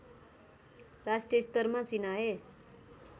राष्ट्रिय स्तरमा चिनाए